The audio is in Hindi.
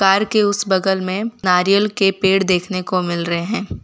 कार के उस बगल में नारियल के पेड़ देखने को मिल रहे हैं।